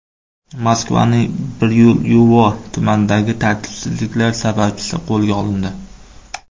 Moskvaning Biryulyovo tumanidagi tartibsizliklar sababchisi qo‘lga olindi.